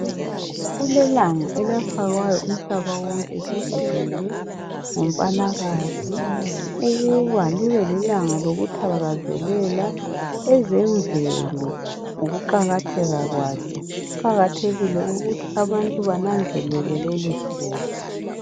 Kulelanga elafakwayo umhlaba wonke jikelele ngumpalakazi ukuba libe lilanga lokuthakazelela ezemvelo ngokuqakatheka kwazo kuqakathekile ukuthi abantu bananzelele lolu suku.